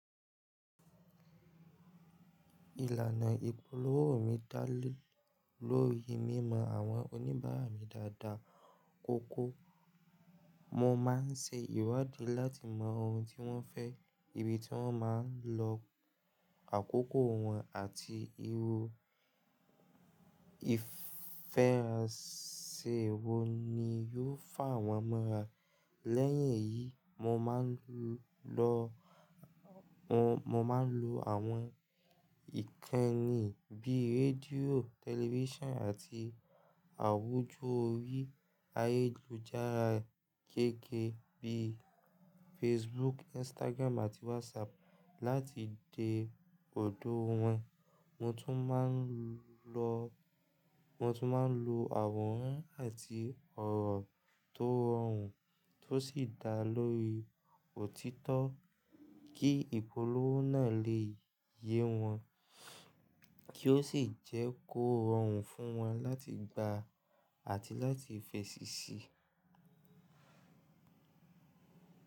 Ìlànà ìpolówó mi dá lé lórí mímọ àwọn oníbàárà mi dáadáa kóko. Mo máa ń ṣe ìwádìí láti mọ ohun tí wọ́n fẹ́, ibi tí wọ́n máa ń lọ, àkókò wọn àti irú ìfẹ́rànse wo ni yóò fàwọ́n mọ́ra. Lẹ́yìn èyí, mo máa ń lo àwọn ìkànnì bíi rédíò, tẹlifíṣàn àti àwùjọ orí ayélujára gẹ́gẹ́ bí i Facebook, Instagram àti WhatsApp láti de ọ̀dọ̀ wọ́n. Mo tún máa ń lo àwòrán àti ọ̀rọ̀ tó rọrùn tó sì dá lórí òtítọ́ kí ìpolówó náà lè yé wọn kio sì jẹ́ kó rọrùn fún wọn láti gbà àti láti fèsì sí.